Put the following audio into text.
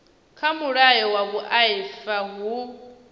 kha mulayo wa vhuaifa hu